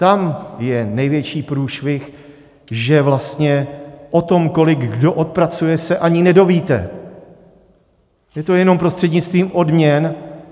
Tam je největší průšvih, že vlastně o tom, kolik kdo odpracuje, se ani nedovíte, je to jenom prostřednictvím odměn.